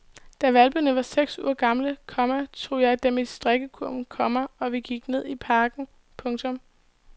Da hvalpene var seks uger gamle, komma tog jeg dem i strikkekurven, komma og vi gik ned i parken. punktum